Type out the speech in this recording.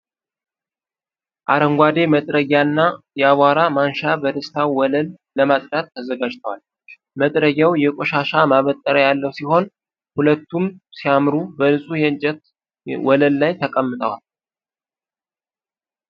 አረንጓዴ መጥረጊያ እና የአቧራ ማንሻ በደስታ ወለል ለማጽዳት ተዘጋጅተዋል። መጥረጊያው የቆሻሻ ማበጠሪያ ያለው ሲሆን፣ ሁለቱም ሲያምሩ በንጹህ የእንጨት ወለል ላይ ተቀምጠዋል።